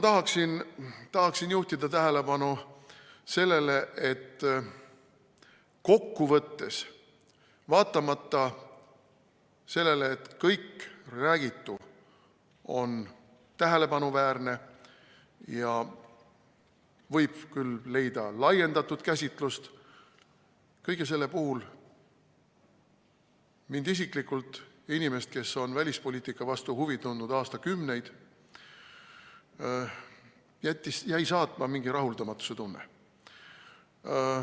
Ma tahaksin juhtida tähelepanu sellele, et kokkuvõttes, vaatamata sellele, et kõik räägitu oli tähelepanuväärne ja võib küll leida laiendatud käsitlust, kõige selle puhul mind isiklikult, inimest, kes on välispoliitika vastu huvi tundnud aastakümneid, jäi saatma mingi rahuldamatuse tunne.